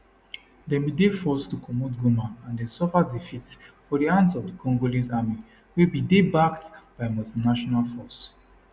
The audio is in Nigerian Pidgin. dem bin dey forced to comot goma and den suffer defeats for di hands of di congolese army wey bin dey backed by multinational force